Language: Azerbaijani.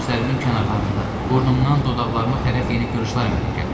Gözlərimin kənarlarında, burnumdan dodaqlarıma tərəf yeni qırışlar əmələ gəlib.